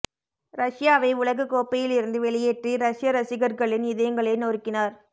ரஷ்யாவை உலகக் கோப்பையில் இருந்து வெளியேற்றி ரஷ்ய ரசிகர்களின் இதயங்களை நொறுக்கினார்